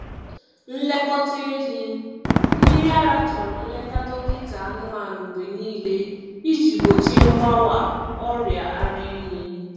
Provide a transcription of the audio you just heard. Nlekọta ehi mmiri ara chọrọ nleta dọkịta anụmanụ mgbe niile iji gbochie mgbawa ọrịa ara ehi.